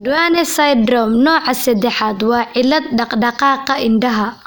Duane syndrome nooca sadaxad waa cillad dhaqdhaqaaqa indhaha.